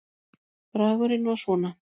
Bragurinn var svona